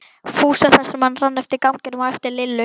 Fúsa þar sem hann rann eftir ganginum á eftir Lillu.